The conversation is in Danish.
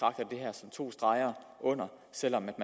som to streger under selv om man